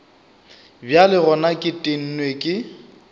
bjale gona ke tennwe ke